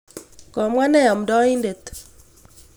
Ng'ering'en peek chu.